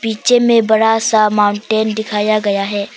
Picture में बड़ा सा माउंटेन दिखाया गया है।